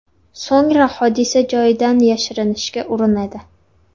So‘ngra hodisa joyidan yashirinishga urinadi.